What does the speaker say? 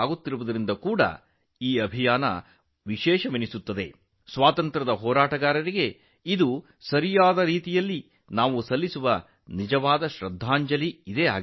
ಇದು ನಿಜವಾದ ಅರ್ಥದಲ್ಲಿ ಸ್ವಾತಂತ್ರ್ಯ ಹೋರಾಟಗಾರರಿಗೆ ನೀಡುವ ನಿಜವಾದ ಗೌರವವಾಗಿದೆ